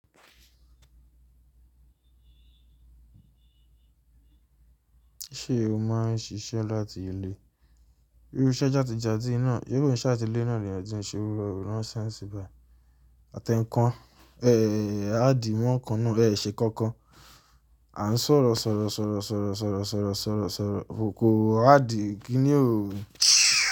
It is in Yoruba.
Ṣé o má ń ṣiṣẹ́ láti ilé? Irú iṣẹ́ játi játi náà, se ko se ati ile náà ni eeyan tin se iru ránsẹ́ síbà. Àtẹ́ńkan, ẹ, àdí mọ́kan náà, ẹ ṣẹ kankan. À ń sọ̀rọ̀ sọ̀rọ̀ sọ̀rọ̀ sọ̀rọ̀ sọ̀rọ̀ sọ̀rọ̀ sọ̀rọ̀ sọ̀rọ̀, koko àdí igi ni ò.